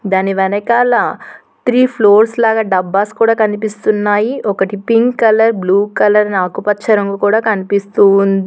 దాని వెనకాల three floors లాగా డబ్బాస్ కూడా కనిపిస్తున్నాయి ఒకటి పింక్ కలర్ బ్లూ కలర్ ఆకుపచ్చ రంగు కూడా కనిపిస్తూ ఉం--